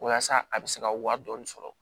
Waasa a bɛ se ka wari dɔɔnin sɔrɔ